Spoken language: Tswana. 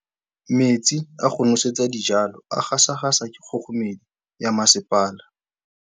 Metsi a go nosetsa dijalo a gasa gasa ke kgogomedi ya masepala.